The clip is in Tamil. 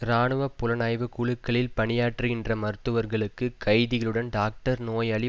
இராணுவ புலனாய்வு குழுக்களில் பணியாற்றுகின்ற மருத்துவர்களுக்கு கைதிகளுடன் டாக்டர்நோயாளி